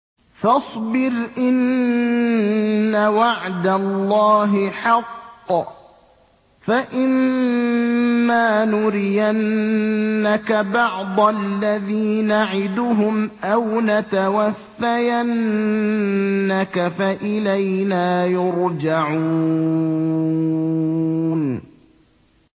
فَاصْبِرْ إِنَّ وَعْدَ اللَّهِ حَقٌّ ۚ فَإِمَّا نُرِيَنَّكَ بَعْضَ الَّذِي نَعِدُهُمْ أَوْ نَتَوَفَّيَنَّكَ فَإِلَيْنَا يُرْجَعُونَ